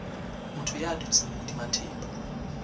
motho ya dutseng hodima thepa